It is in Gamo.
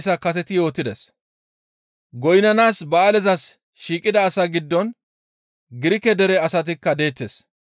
Goynnanaas ba7aalezas shiiqida asaa giddon Girike dere asatikka deettes.